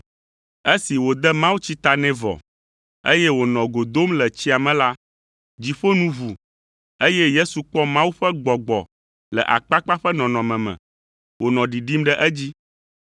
Esi wòde mawutsi ta nɛ vɔ, eye wònɔ go dom le tsia me la, dziƒo nu ʋu, eye Yesu kpɔ Mawu ƒe Gbɔgbɔ le akpakpa ƒe nɔnɔme me, wònɔ ɖiɖim ɖe edzi.